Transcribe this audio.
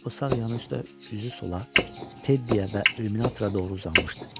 O sağ yanı üstə üzü sola, Teddyə və illüminatorra doğru uzanmışdı.